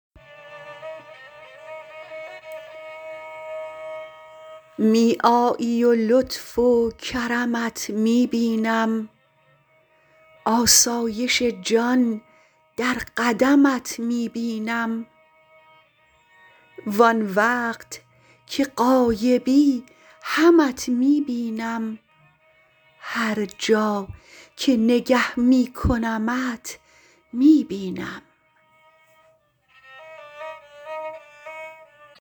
می آیی و لطف و کرمت می بینم آسایش جان در قدمت می بینم وآن وقت که غایبی همت می بینم هر جا که نگه می کنمت می بینم